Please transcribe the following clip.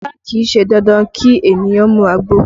Rárá, kì í ṣe dandan kí ènìyàn mu àgbo